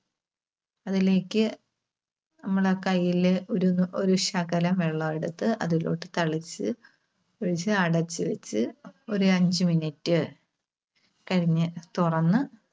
അതിലേക്ക് നമ്മടെ കൈയില് ഒരു, ഒരു ശകലം വെള്ളമെടുത്ത് അതിലോട്ട് തളിച്ച് അടച്ച് വെച്ച് ഒരു അഞ്ച് minute കഴിഞ്ഞ് തുറന്ന്